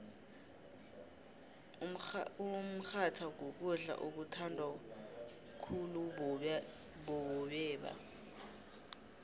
umrhatha kukudla okuthandwa khuulubobeba